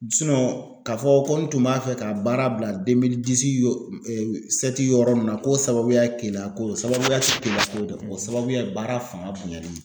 ka fɔ ko n tun b'a fɛ ka baara bila yɔrɔ nun na k'o sababuya ye Keleyako ye o sababuya tɛ Keleyako ye dɛ o sababuya ye baara fanga bonyali ye.